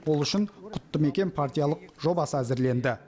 ол үшін құтты мекен партиялық жобасы әзірленді